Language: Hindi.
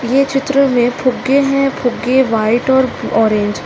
ये चित्र में फुग्गे हैं फुग्गे व्हाइट और ऑरेंज--